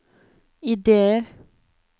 ideer